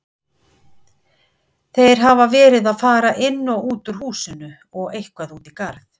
Þeir hafa verið að fara inn og út úr húsinu og eitthvað út í garð.